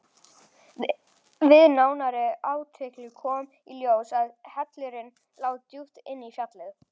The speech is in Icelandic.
Við nánari athugun kom í ljós að hellirinn lá djúpt inn í fjallið.